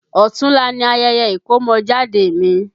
Ọ̀tunla ni ayẹyẹ ìkọ́mọjáde mi